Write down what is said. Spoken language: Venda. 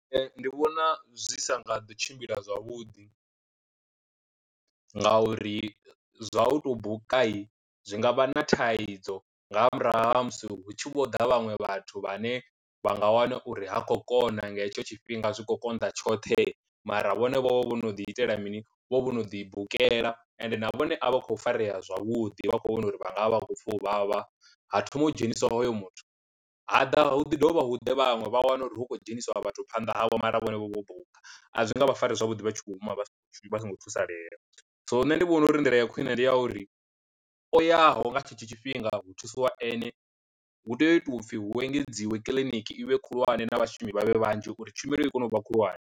Ndi vhona zwi sa nga ḓo tshimbila zwavhuḓi nga uri zwa u to buka zwi nga vha na thaidzo nga murahu ha musi hu tshi vho ḓa vhaṅwe vhathu vha ne vha nga wana uri ha khou kona nga hetsho tshifhinga zwi khou konḓa tshoṱhe mara vhone vho no ḓi itela mini vho vhono ḓi bukela ende na vhone a vha kho farea zwavhuḓi vha kho vhona uri vha nga vha vha khou pfha u vhavha ha thoma u dzheniswa hoyo muthu, haḓa hu ḓi dovha hu ḓe vhaṅwe vha wane uri hu khou dzhenisiwa vhathu phanḓa havho mara vhone vho vho buka, a zwi nga vha fare zwavhuḓi vha tshi khou hama vha songo vha songo thusalea. So nṋe ndi vhona uri nḓila ya khwine ndi ya uri o yaho nga tshetsho tshifhinga hu thusiwa ene hu tea u itwa upfhi hu engedziwe kiḽiniki ivhe khulwane na vhashumi vhavhe vhanzhi uri tshumelo i kone u vha khulwane.